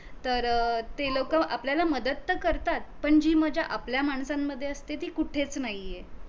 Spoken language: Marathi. तर अ ती लोक अपल्याला मदत तर करतात पण जी मज्जा आपल्या माणसांमध्ये असते ती कुठेच नाहीये